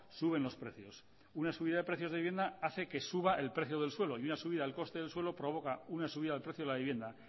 suben los precios una subida de precios de vivienda hace que suba el precio del suelo y una subida al coste del suelo provoca una subida del precio de la vivienda